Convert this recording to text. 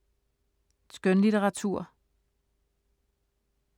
Skønlitteratur